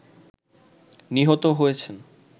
নিহত হয়েছেন